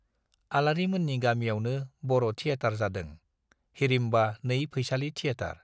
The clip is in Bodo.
आलारि मोननि गामियावनो बर' टियेटार जादों- हिडिम्बा नै फैसालि थियेटार।